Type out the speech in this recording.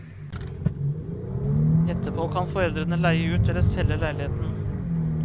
Etterpå kan foreldrene leie ut eller selge leiligheten.